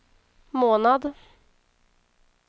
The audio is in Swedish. månad